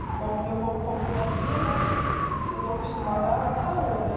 O problema, o meu problema daqui é mais que eu estou acostumada a calor, né?